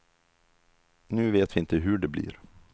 Nu vet vi inte hur det blir.